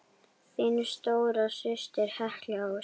Þín stóra systir, Helga Ósk.